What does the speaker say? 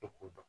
E k'o dɔn